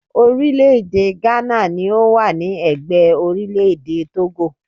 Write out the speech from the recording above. Orílẹ̀-èdè Ghana ni ó wà ní ẹ̀gbẹ́ orílẹ̀-èdè Tógò